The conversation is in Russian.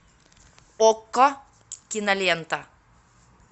окко кинолента